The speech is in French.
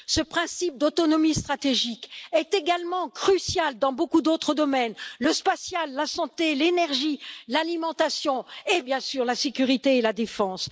Ce principe d'autonomie stratégique est également crucial dans beaucoup d'autres domaines le spatial, la santé, l'énergie, l'alimentation et bien sûr la sécurité et la défense.